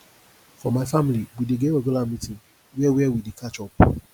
for my family we dey get regular meeting where where we dey catch up